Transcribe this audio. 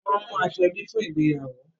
Won mú aṣọ ebi fún ìgbéyàwó